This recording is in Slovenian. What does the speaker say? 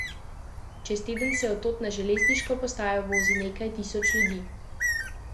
Čez teden se tod na železniško postajo vozi nekaj tisoč ljudi.